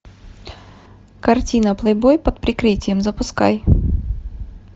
картина плейбой под прикрытием запускай